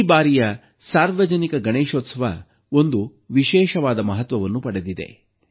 ಈ ಬಾರಿಯ ಸಾರ್ವಜನಿಕ ಗಣೇಶೋತ್ಸವ ಒಂದು ವಿಶೇಷವಾದ ಮಹತ್ವವನ್ನು ಪಡೆದಿದೆ